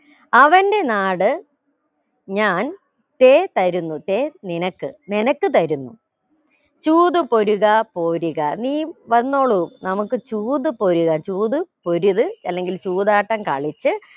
അവന്റെ നാട് ഞാൻ ചേതരുന്നു ചേ നിനക്ക് നിനക്ക് തരുന്നു ചൂതു പൊരുകാ പോരുക നീയും വന്നോളൂ നമുക്ക് ചൂത് പൊരുക ചൂത് പൊരുത് അല്ലെങ്കിൽ ചൂതാട്ടം കളിച്ച്